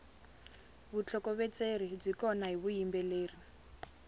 vutlhokovetseri byi kona hi vuyimbeleri